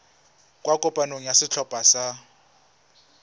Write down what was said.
kwa kopanong ya setlhopha sa